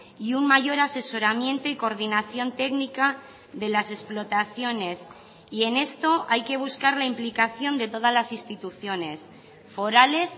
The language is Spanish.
y un mayor asesoramiento y coordinación técnica de las explotaciones y en esto hay que buscar la implicación de todas las instituciones forales